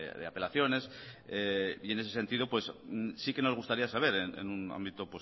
de apelaciones y en ese sentido sí que nos gustaría saber en un ámbito